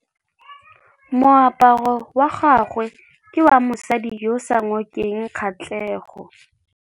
Moaparô wa gagwe ke wa mosadi yo o sa ngôkeng kgatlhegô.